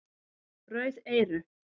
Rauð eyru